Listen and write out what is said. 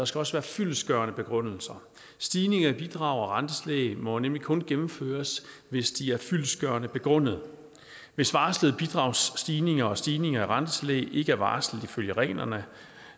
skal også være fyldestgørende begrundelser stigninger i bidrag rentetillæg og gebyrer må nemlig kun gennemføres hvis de er fyldestgørende begrundede hvis varslede bidragsstigninger og stigninger i rentetillæg ikke er varslet ifølge reglerne